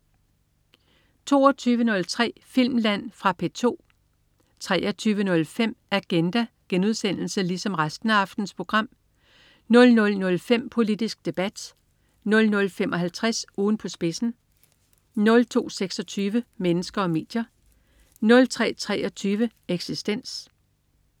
22.03 Filmland. Fra P2 23.05 Agenda* 00.05 Politisk Debat* 00.55 Ugen på spidsen* 02.26 Mennesker og medier* 03.23 Eksistens*